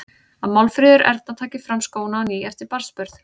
Að Málfríður Erna taki fram skóna á ný eftir barnsburð.